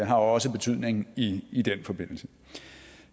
har også betydning i i den forbindelse